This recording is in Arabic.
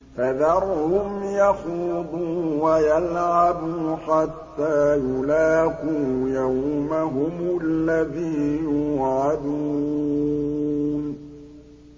فَذَرْهُمْ يَخُوضُوا وَيَلْعَبُوا حَتَّىٰ يُلَاقُوا يَوْمَهُمُ الَّذِي يُوعَدُونَ